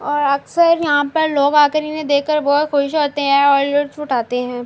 اور اکثر یہاں پر لوگ آکر انھ دیکھکر بھوت خس ہوتے ہے اور لطف اٹھاتے ہے۔